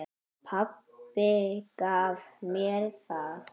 Pabbi gaf mér það.